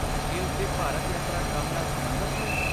ਕੀ ਉਸ ਦੀ ਭਾਰਤ ਯਾਤਰਾ ਕੰਮ ਨਾਲ ਸਬੰਧਤ ਹੈ?